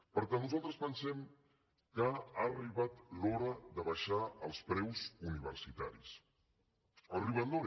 per tant nosaltres pensem que ha arribat l’hora d’abaixar els preus universitaris ha arribat l’hora